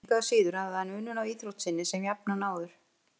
Engu að síður hafði hann unun af íþrótt sinni sem jafnan áður.